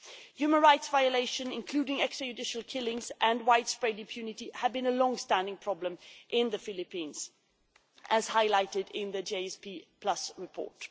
Human rights violations, including extrajudicial killings, and widespread impunity have been a long standing problem in the Philippines, as highlighted in the GSP report.